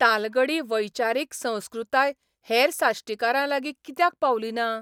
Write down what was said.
तालगडी वैचारीक संस्कृताय हेर साश्टीकारांलागी कित्याक पावली ना?